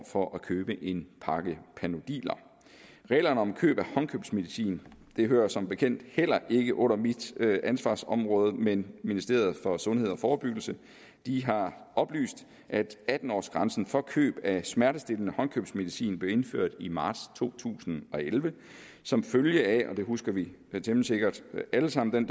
for at købe en pakke panodiler reglerne om køb af håndkøbsmedicin hører som bekendt heller ikke under mit ansvarsområde men ministeriet for sundhed og forebyggelse har oplyst at atten årsgrænsen for køb af smertestillende håndkøbsmedicin blev indført i marts to tusind og elleve som følge af og den debat husker vi temmelig sikkert alle sammen